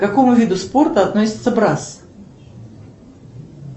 к какому виду спорта относится брас